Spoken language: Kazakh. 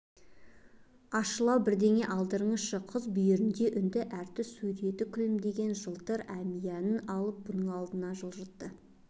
ащылау бірдеңе алдырыңызшы қыз бүйірінде үнді әртісі сурет күлімдеген жылтыр әмиянын алып бұның алдына жылжытты